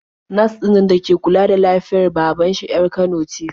Nas ɗinnan da ke kula da lafiyar baban shi 'yar Kano ce.